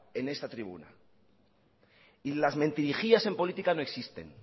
en esta tribuna y las mentirijillas en política no existen